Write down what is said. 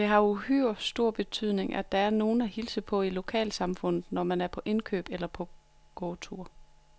Det har uhyre stor betydning, at der er nogen at hilse på i lokalsamfundet, når man er på indkøb eller går tur.